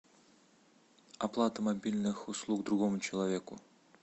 оплата мобильных услуг другому человеку